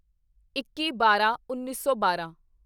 ਇੱਕੀਬਾਰਾਂਉੱਨੀ ਸੌ ਬਾਰਾਂ